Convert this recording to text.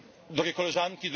Drogie Koleżanki!